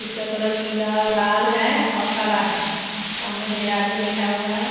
इसका कलर पीला लाल है और काला है सामने ढेर आदमी बैठा हुआ है।